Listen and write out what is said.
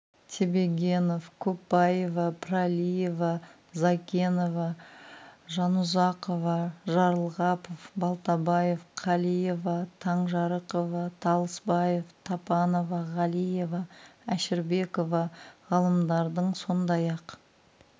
тебегенов көпбаева пралиева зайкенова жанұзақова жарылғапов балтабаева қалиева таңжарықова толысбаева тапанова ғалиева әшірбекова ғалымдардың сондай-ақ